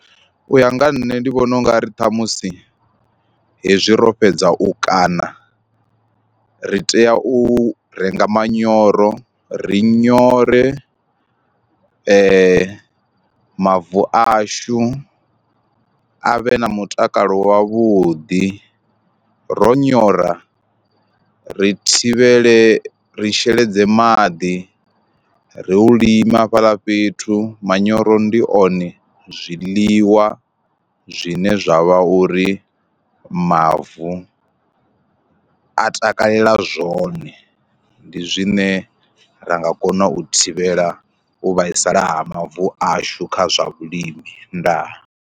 U ya nga ha nṋe ndi vhona ungari ṱhamusi hezwi ro fhedza u kana ri tea u renga manyoro, ri nyore mavu ashu avhe na mutakalo wavhuḓi ro nyora ri thivhele ri sheledze maḓi, ri u lima hafhaḽa fhethu manyoro ndi one zwiḽiwa zwine zwa vha uri mavu a takalela zwone, ndi zwine ra nga kona u thivhela u vhaisala ha mavu ashu kha zwa vhulimi ndaa.